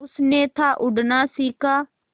उसने था उड़ना सिखा